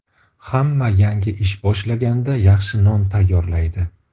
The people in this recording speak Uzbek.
Hamma yangi ish boshlaganda yaxshi non tayyorlaydi.